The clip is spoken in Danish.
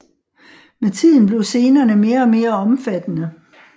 Med tiden blev scenerne mere og mere omfattende